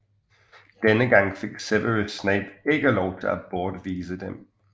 Denne gang fik Severus Snape ikke lov til at bortvise dem